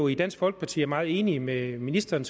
i dansk folkeparti er meget enige med ministeren